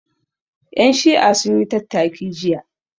Ƴan Shi'a sun yi tattaki jiya